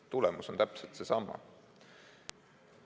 Tulemus on täpselt seesama.